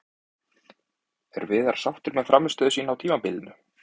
Er Viðar sáttur með frammistöðu sína á tímabilinu?